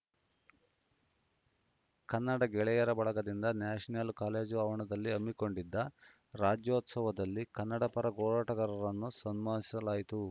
ಕನ್ನಡ ಗೆಳೆಯರ ಬಳಗದಿಂದ national college ಆವರಣದಲ್ಲಿ ಹಮ್ಮಿಕೊಂಡಿದ್ದ ರಾಜ್ಯೋತ್ಸವದಲ್ಲಿ ಕನ್ನಡ ಪರ ಹೋರಾಟಗಾರರನ್ನು ಸನ್ಮಾನಿಸಲಾಯಿತು